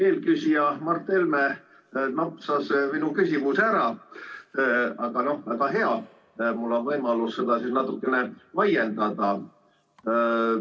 Eelküsija Mart Helme napsas minu küsimuse ära, aga väga hea, mul on võimalus seda siis natukene laiendada.